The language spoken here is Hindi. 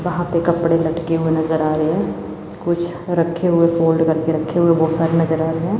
वहां पे कपड़े लटके हुए नजर आ रहे हैं कुछ रखे हुए फोल्ड करके रखे हुए बहुत सारे नजर आ रहे हैं।